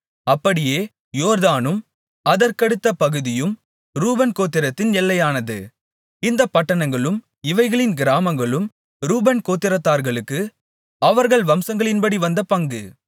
அப்படியே யோர்தானும் அதற்கடுத்த பகுதியும் ரூபன் கோத்திரத்தின் எல்லையானது இந்தப் பட்டணங்களும் இவைகளின் கிராமங்களும் ரூபன் கோத்திரத்தார்களுக்கு அவர்கள் வம்சங்களின்படி வந்த பங்கு